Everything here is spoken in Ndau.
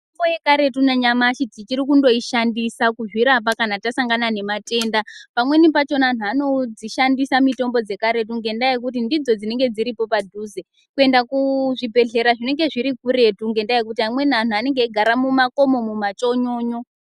Mitombo yekaretu nanyamashi tichiri kuishandisa kuzvirapa kana tasangana nezvitenda pamweni pakona vanhu vanoshandisa mitombo dzekaretu nekuti ndidzo dzinenge dziripo padhuze kuenda kuzvibhedhleya zvinenge zviri kuretu ngendaa yekuti vamwe vantu vanogara mumakomo mumachonyonyo.